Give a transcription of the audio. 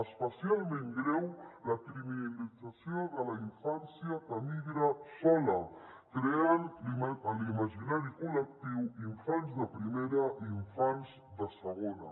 especialment greu la criminalització de la infància que emigra sola creant en l’imaginari col·lectiu infants de primera i infants de segona